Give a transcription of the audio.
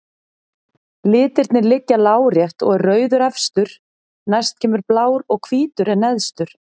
Litirnir liggja lárétt og er rauður efstur, næst kemur blár og hvítur er neðstur.